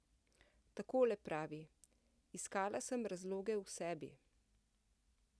Takole pravi: 'Iskala sem razloge v sebi ...